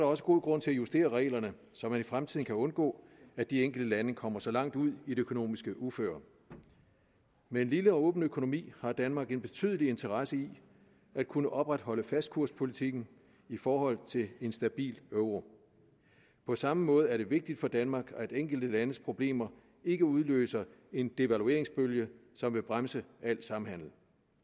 også god grund til at justere reglerne så man i fremtiden kan undgå at de enkelte lande kommer så langt ud i det økonomiske uføre med en lille og åben økonomi har danmark en betydelig interesse i at kunne opretholde fastkurspolitikken i forhold til en stabil euro på samme måde er det vigtigt for danmark at enkelte landes problemer ikke udløser en devalueringsbølge som vil bremse al samhandel